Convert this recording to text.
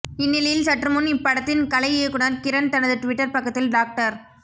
இந்நிலையில் சற்றுமுன் இப்படத்தின் கலை இயக்குனர் கிரண் தனது ட்விட்டர் பக்கத்தில் டாக்டர்